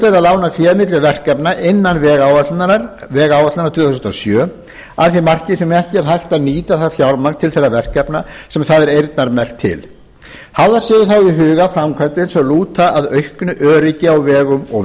að lána fé milli verkefna innan vegáætlunar tvö þúsund og sjö að því marki sem ekki er hægt að nýta það fjármagn til þeirra verkefna sem það er eyrnamerkt til hafðar séu í huga framkvæmdir sem lúta að auknu öryggi á vegum og